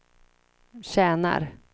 tjänar